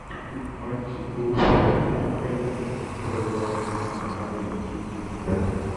тут мальчику великолепно провела английской команды манчестер юнайтед